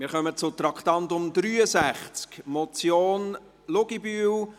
Wir kommen zu Traktandum 63, Motion Luginbühl: